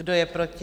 Kdo je proti?